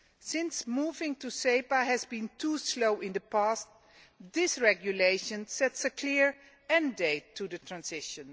Since moving to SEPA has been too slow in the past, this regulation sets a clear end date for the transition.